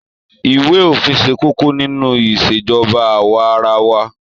Iwe ofin se kókó nínú Ìṣèjọba awa-ara-wa.